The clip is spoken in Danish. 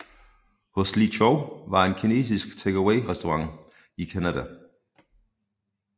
Ho Lee Chow var en kinesisk takeawayrestaurantkæde i Canada